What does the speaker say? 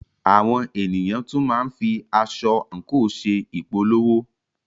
Àwọn ènìyàn tún máa ń fi aṣọ/àǹkò ṣe ìpolówó.